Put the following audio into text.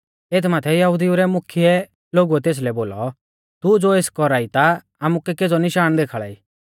एथ माथै यहुदिऊ रै मुख्यै लोगुऐ तेसलै बोलौ तू ज़ो एस कौरा ई ता आमुकै केज़ौ निशाण देखाल़ाई